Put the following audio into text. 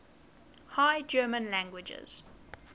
high german languages